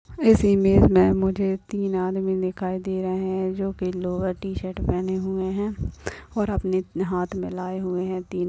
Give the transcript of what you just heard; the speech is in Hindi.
इस इमेज में मुझे तीन आदमी दिखाई दे रहे है जो की लोअर टी-शर्ट पहने हुए है और अपने इत मे हाथ मिलाये लाये हुए है तीन--